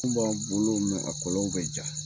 Kun b'an kuŋolo a kɔlɔnw bɛ ja.